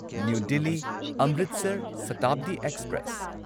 new Delhi Amritsar Shatabdi express